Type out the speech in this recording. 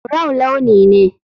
Brown launi ne.